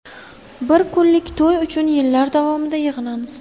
Bir kunlik to‘y uchun yillar davomida yig‘inamiz.